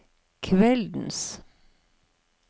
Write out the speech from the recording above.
kveldens